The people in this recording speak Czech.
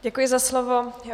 Děkuji za slovo.